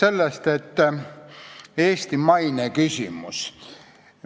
Alustan Eesti maine küsimusest.